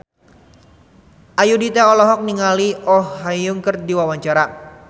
Ayudhita olohok ningali Oh Ha Young keur diwawancara